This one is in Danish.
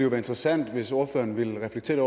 være interessant hvis ordføreren ville reflektere